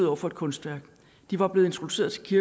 over for et kunstværk de var blevet introduceret til